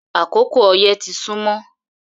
Akókò oyẹ́ tì sùnmọ